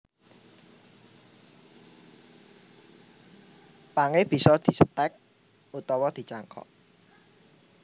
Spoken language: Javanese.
Pangé bisa distèk utawa dicangkok